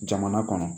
Jamana kɔnɔ